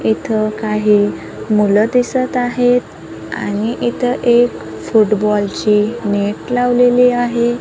इथ काही मुलं दिसत आहेत आणि इथ एक फुटबॉल ची नेट लावलेली आहे.